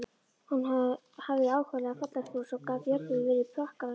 Hún hafði ákaflega fallegt bros og gat jafnvel verið prakkaraleg.